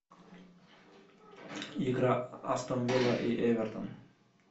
игра астон вилла и эвертон